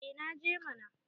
eh naje mana